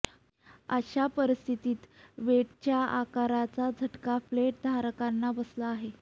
अश्या परीस्थित व्हेटच्या आकारणीचा झटका फ्लेट धारकांना बसला आहे